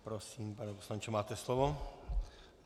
Prosím, pane poslanče, máte slovo.